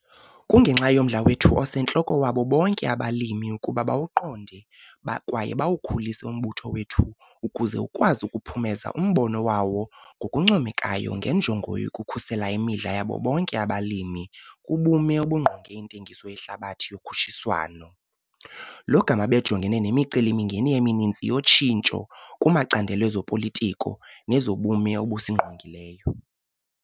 Kungenxa yomdla wethu osentloko wabo bonke abalimi ukuba bawuqonde kwaye bawukhulise umbutho wethu ukuze ukwazi ukuphumeza umbono wawo ngokuncomekayo ngenjongo yokukhusela imidla yabo bonke abalimi kubume obungqonge intengiso yehlabathi yokhutshiswano, lo gama bejongene nemiceli-mingeni emininzi yotshintsho kumacandelo ezopolitiko nezobume obusingqongileyo.